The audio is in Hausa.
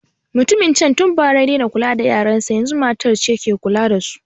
Mutumin can tun bara ya daina kula da yaran sa, yazun matar ce ke kula da su.